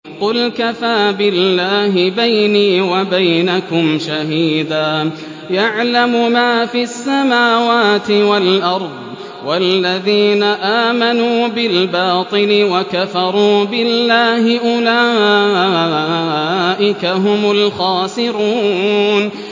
قُلْ كَفَىٰ بِاللَّهِ بَيْنِي وَبَيْنَكُمْ شَهِيدًا ۖ يَعْلَمُ مَا فِي السَّمَاوَاتِ وَالْأَرْضِ ۗ وَالَّذِينَ آمَنُوا بِالْبَاطِلِ وَكَفَرُوا بِاللَّهِ أُولَٰئِكَ هُمُ الْخَاسِرُونَ